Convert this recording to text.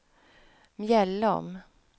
Mjällom